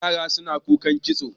yara suna kukan kitso